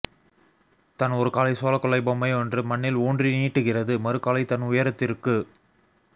தன் ஒரு காலை சோளக்கொல்லை பொம்மையொன்று மண்ணில் ஊன்றி நீட்டுகிறது மறுகாலை தன் உயரத்திற்கு